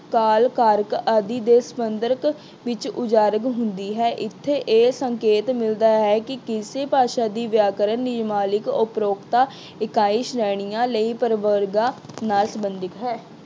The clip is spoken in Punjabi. ਕਾਲ ਕਾਰਕ ਆਦਿ ਦੇ ਸਬੰਧਤ ਵਿੱਚ ਉਜਾਗਰ ਹੁੰਦੀ ਹੈ। ਇੱਥੇ ਇਹ ਸੰਕੇਤ ਮਿਲਦਾ ਹੈ ਕਿ ਕਿਸੇ ਭਾਸ਼ਾ ਦੀ ਵਿਆਕਰਨ ਉਪਰੋਕਤਾ ਇਕਾਈ ਸ਼੍ਰੇਣੀਆਂ ਲਈ ਪਰਵਰਗਾਂ ਨਾਲ ਸਬੰਧਿਤ ਹੈ।